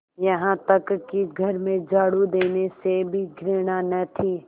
यहाँ तक कि घर में झाड़ू देने से भी घृणा न थी